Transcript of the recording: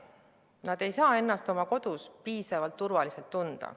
Nad ei saa ennast oma kodus piisavalt turvaliselt tunda.